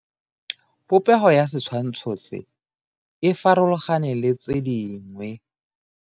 Popego ya setshwantsho se, e farologane le tse dingwe.